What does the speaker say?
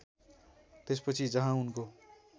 त्यसपछि जहाँ उनको